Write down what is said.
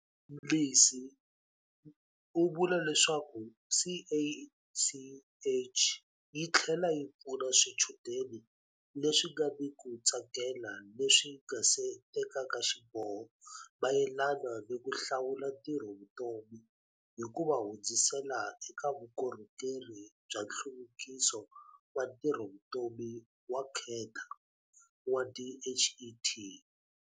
Mnisi u vula leswaku CACH yi tlhela yi pfuna swichudeni leswi nga ni ku tsakela leswi nga se tekaka xiboho mayelana ni ku hlawula ntirhovutomi hi ku va hundzisela eka Vukorhokeri bya Nhluvukiso wa Ntirhovutomi wa Kheta wa DHET.